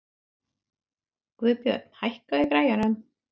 Guðbjörn, hækkaðu í græjunum.